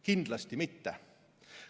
Kindlasti mitte.